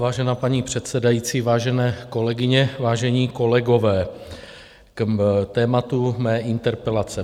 Vážená paní předsedající, vážené kolegyně, vážení kolegové, k tématu mé interpelace.